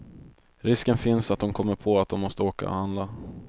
Risken finns att hon kommer på att hon måste åka och handla.